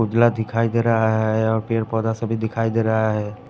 उजला दिखाई दे रहा है और पेड़ पौधा सभी दिखाई दे रहा है।